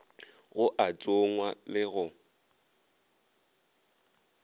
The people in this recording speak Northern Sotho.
go a tsongwa le go